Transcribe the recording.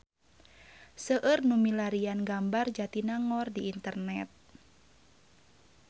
Seueur nu milarian gambar Jatinangor di internet